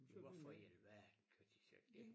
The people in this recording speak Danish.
Hvorfor i alverden gør de så ik det